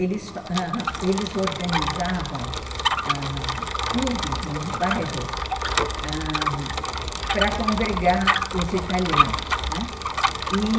eles ãh organizavam clubes nos bairros ãh para congregar os italianos, né, e